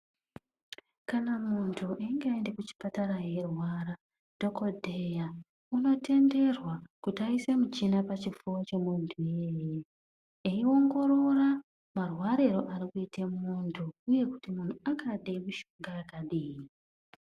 Kana munhu einge aenda kuchipatara eirwara, dhokodheya unotenderwa kuti aise michini pachifuva chemunhu iyeye eiongorora marwariro arikuita munhu uye kuti angada mishonga yakadini.